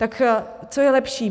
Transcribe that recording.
Tak co je lepší?